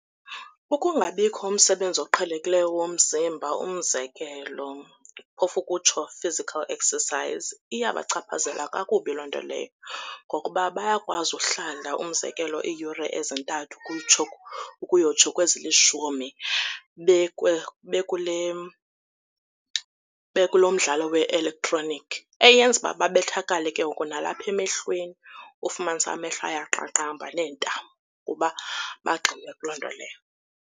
Ukungabikho umsebenzi oqhelekileyo womzimba, umzekelo, phofu ukutsho physical exercise iyabachaphazela kakubi loo nto leyo, ngokuba bayakwazi uhlala umzekelo iiyure ezintathu ukuyotsho kwezi lishumi bekulo mdlalo we-elektroniki eyenza uba babethakale ke ngoku nalapha emehlweni, ufumanise amehlo ayaqaqamba neentamo kuba bagxile kuloo nto leyo.